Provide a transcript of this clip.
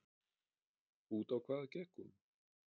Út á hvað gekk hún?